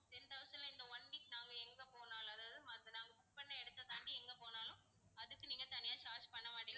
ten thousand ல இந்த one week நாங்க எங்க போனாலும் அதாவது நாங்க book பண்ண இடத்தை தாண்டி எங்க போனாலும் அதுக்கு நீங்க தனியா charge பண்ணமாட்டீங்க